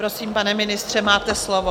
Prosím, pane ministře, máte slovo.